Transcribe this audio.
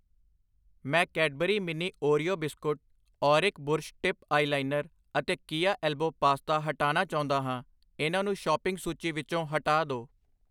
ਮੈਂ Cadbury mini Oreo biscuit, ਔਰਿਕ brush tip eyeliner ਅਤੇ ਕਿਆ ਐਲਬੋ ਪਾਸਤਾ ਹਟਾਨਾ ਚਾਉਂਦਾ ਹਾਂ, ਇਹਨਾਂ ਨੂੰ ਸ਼ੋਪਿੰਗ ਸੂਚੀ ਵਿੱਚੋ ਹਟਾ ਦੋ I